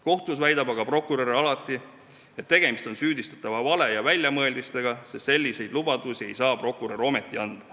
Kohtus väidab aga prokurör alati, et tegemist on süüdistatava vale ja väljamõeldistega, sest selliseid lubadusi ei saa prokurör ometi anda.